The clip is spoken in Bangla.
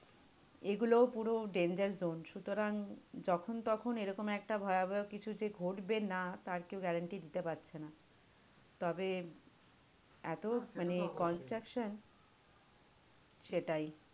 এগুলোও পুরো danger zone সুতরাং যখন তখন এরকম একটা ভয়াবহ কিছু যে ঘটবে না তার কেউ guarantee দিতে পারছে না। তবে এতো মানে construction সেটাই।